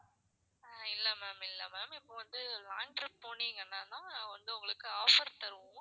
இல்ல ma'am இல்ல ma'am இப்போ வந்து long trip போனீங்கன்னா வந்து உங்களுக்கு offer தருவோம்.